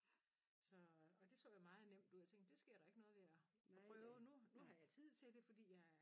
Så og det så jo meget nemt ud jeg tænkte det sker der ikke noget ved at at prøve og nu nu har jeg tid til det fordi jeg er